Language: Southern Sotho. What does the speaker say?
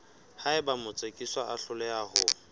haeba motsekiswa a hloleha ho